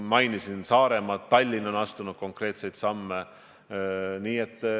Ma mainisin Saaremaad, ka Tallinn on astunud konkreetseid samme.